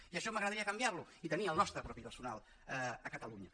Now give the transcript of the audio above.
i això m’agradaria canviar ho i tenir el nostre propi personal a catalunya